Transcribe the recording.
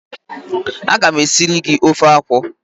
A ga m e siri gi ofe akwụ.